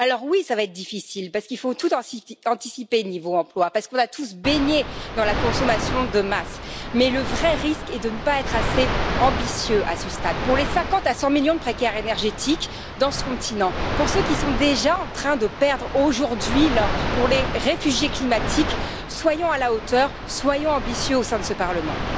Alors oui, cela va être difficile parce qu'il faut tout anticiper au niveau de l'emploi parce qu'on a tous baigné dans la consommation de masse, mais le vrai risque est de ne pas être assez ambitieux à ce stade. Pour les 50 à 100 millions de précaires énergétiques que compte ce continent, pour ceux qui sont déjà en train de perdre leur emploi aujourd'hui, pour les réfugiés climatiques, soyons à la hauteur, soyons ambitieux au sein de ce Parlement.